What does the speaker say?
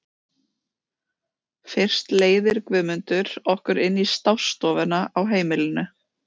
Fyrst leiðir Guðmundur okkur inn í stássstofuna á heimilinu.